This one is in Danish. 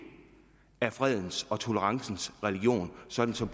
er fredens og tolerancens religion sådan som